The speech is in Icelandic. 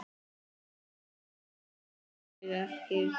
Nei það held ég ekki.